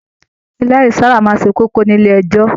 Ẹlẹri máa n sábà se kókó nílé ẹjọ.